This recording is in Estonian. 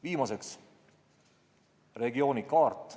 Viimaseks: regiooni kaart.